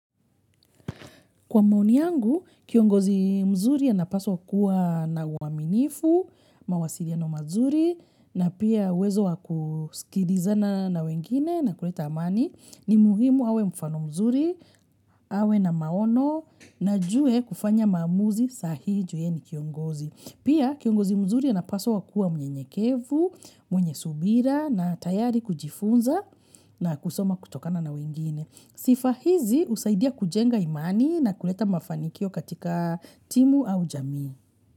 Kwa maoni yangu, kiongozi mzuri anapaswa kuwa na uaminifu, mawasiliano mazuri, na pia uwezo wa kusikilizana na wengine na kuleta amani. Ni muhimu awe mfano mzuri, awe na maono, na ajue kufanya maamuzi saa hii juu ye ni kiongozi. Pia kiongozi mzuri anapaswa kuwa mnyenyekevu, mwenye subira na tayari kujifunza na kusoma kutokana na wengine. Sifa hizi husaidia kujenga imani na kuleta mafanikio katika timu au jamii.